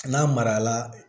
N'a mara la